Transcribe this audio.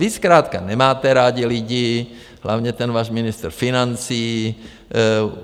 Vy zkrátka nemáte rádi lidi, hlavně ten váš ministr financí.